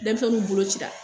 Denmisɛnninw bolo cira